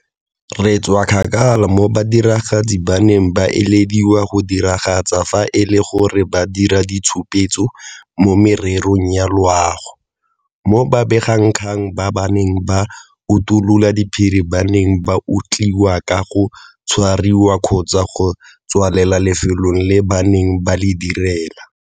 Re tswa kgakala mo badiragatsi ba neng ba ilediwa go diragatsa fa e le gore ba dira ditshupetso mo mererong ya loago, mo babegakgang ba ba neng ba utulola diphiri ba neng ba otlhaiwa ka go tshwariwa kgotsa go tswalela lefelo leo ba neng ba le direla.